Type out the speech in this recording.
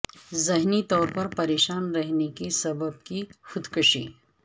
ذہنی طور پر پریشان رہنے کے سبب کی خود کشی